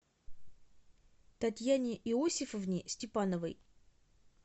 татьяне иосифовне степановой